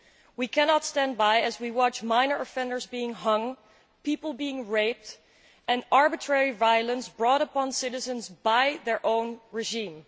We cannot stand by and watch minor offenders being hanged, people being raped and arbitrary violence wrought upon citizens by their own regime.